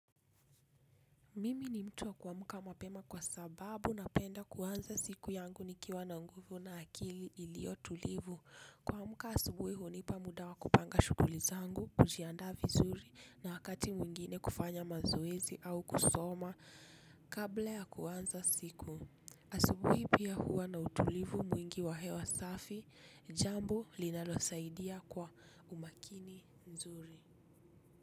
Mimi ni mtu wa kuamka mapema kwa sababu napenda kuanza siku yangu nikiwa na nguvu na akili iliyo tulivu. Kuamka asubuhi hunipa muda wa kupanga shuguli zangu, kujiandaa vizuri na wakati mwingine kufanya mazoezi au kusoma kabla ya kuanza siku. Asubuhi pia huwa na utulivu mwingi wa hewa safi, jambo linalosaidia kwa umakini nzuri.